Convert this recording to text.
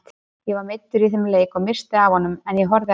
Ég var meiddur í þeim leik og missti af honum en ég horfði á.